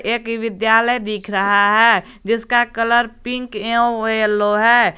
एक विद्यालय दिख रहा है जिसका कलर पिंक एवं यलो है।